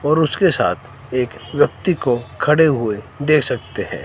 और उसके साथ एक व्यक्ति को खड़े हुए देख सकते है।